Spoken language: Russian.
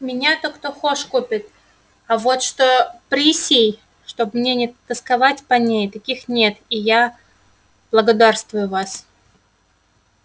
меня-то кто хошь купит а вот что присей чтоб мне не тосковать по ней таких нет и я благодарствую вас